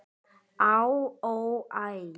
Á, ó, æ